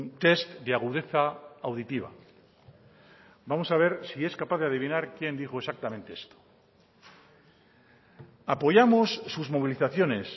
test de agudeza auditiva vamos a ver si es capaz de adivinar quién dijo exactamente esto apoyamos sus movilizaciones